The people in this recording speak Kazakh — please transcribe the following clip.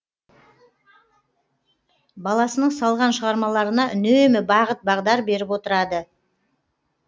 баласының салған шығармаларына үнемі бағыт бағдар беріп отырады